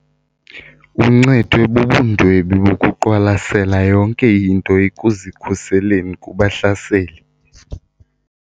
Uncedwe bubundwebi bokuqwalasela yonke into ekuzikhuseleni kubahlaseli.